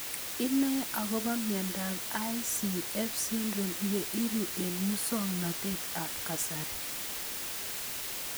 Inae akopo miondop ICF syndrome ye iro eng' muswognatet ab kasari